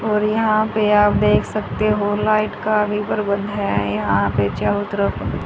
और यहां पे आप देख सकते हो लाइट का भी प्रबंध है यहां पे चारो तरफ--